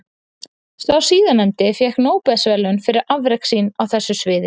Sá síðarnefndi fékk Nóbelsverðlaun fyrir afrek sín á þessu sviði.